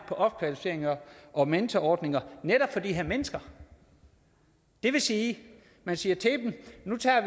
på opkvalificering og mentorordninger netop for de her mennesker det vil sige at man siger til dem at nu tager